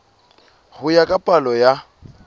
ho ya ka palo ya